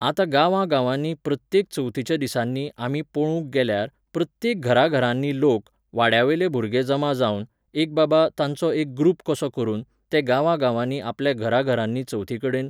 आतां गांवांगांवांनी प्रत्येक चवथीच्या दिसांनी आमी पळोवूंक गेल्यार, प्रत्येक घराघरांनीं लोक, वाड्यावेले भुरगे जमा जावन, एक बाबा, तांचो एक ग्रूप कसो करून, ते गांवागांवांनी आपल्या घराघरांनी चवथीकडेन